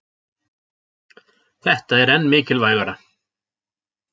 Þetta er enn mikilvægara